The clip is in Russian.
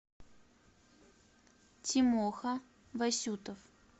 тимоха васютов